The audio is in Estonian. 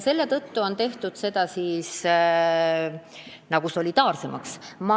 Selle tõttu soovime süsteemi solidaarsemaks teha.